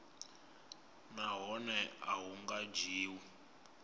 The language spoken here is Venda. nahone a hu nga dzhiwi